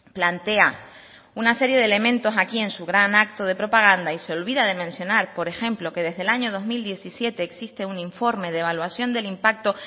plantea una serie de elementos aquí en su gran acto de propaganda y se olvida de mencionar por ejemplo que desde el año dos mil diecisiete existe un informe de evaluación del impacto